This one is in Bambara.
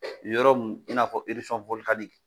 O yɔrɔ mun i n'a fɔ irisɔn wɔlikaniki